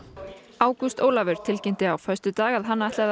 ágúst Ólafur tilkynnti á föstudag að hann ætlaði